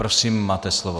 Prosím, máte slovo.